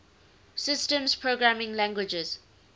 systems programming languages